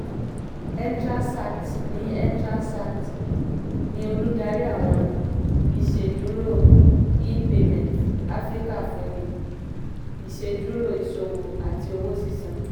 etranzact ní etranzact ní olùdarí àwọn iṣẹ́dúró e-payments afíríkà fúnni iṣẹ́dúró iṣòwò àti owó sísan.